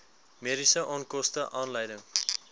mediese onkoste aanleiding